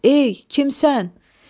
Ey, kimsən?